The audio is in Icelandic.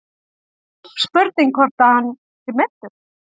Spurning hvort að hann sé meiddur.